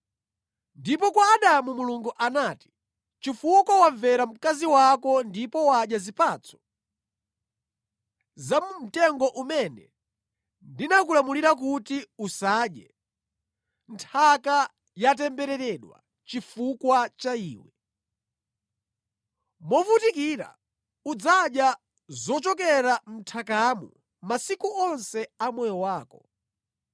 Ndipo kwa Adamu Mulungu anati, “Chifukwa wamvera mkazi wako ndipo wadya zipatso za mu mtengo umene ndinakulamulira kuti, ‘Usadye.’ “Nthaka yatembereredwa chifukwa cha iwe, movutikira udzadya zochokera mʼnthakamo masiku onse a moyo wako.